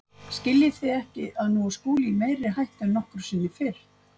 Skiljið þið ekki að nú er Skúli í meiri hættu en nokkru sinni fyrr.